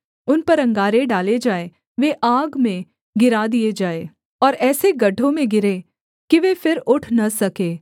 उन पर अंगारे डाले जाएँ वे आग में गिरा दिए जाएँ और ऐसे गड्ढों में गिरें कि वे फिर उठ न सके